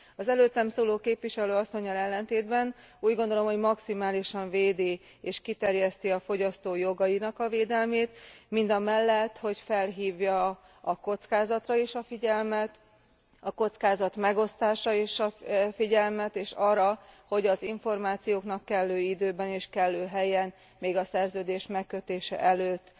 Az előttem szóló képviselőasszonnyal ellentétben úgy gondolom, hogy maximálisan védi és kiterjeszti a fogyasztó jogainak a védelmét, mindamellett, hogy felhívja a kockázatra is a figyelmet, a kockázatmegosztásra is a figyelmet és arra, hogy az információknak kellő időben és kellő helyen, még a szerződés megkötése előtt